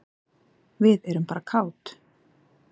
Við erum bara kát.